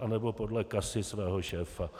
anebo podle kasy svého šéfa.